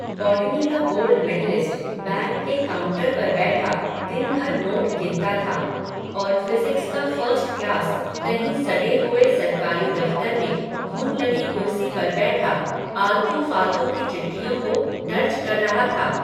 botany का gold medallist, bank के counter पर बैठा, दिन भर नोट गिनता था, और फ़िज़िक्स का फ़र्स्ट क्लास, कहीं सडे हुए सरकारी दफ़्तर में, घुन लगी कुर्सी पर बैठा, आलतू फ़ालतू की चिट्ठियों को दर्ज कर रहा था